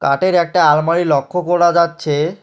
কাঠের একটা আলমারি লক্ষ করা যাচ্ছে।